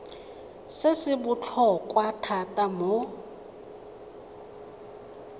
se se botlhokwa thata mo